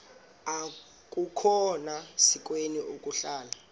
akukhona sikweni ukuhlala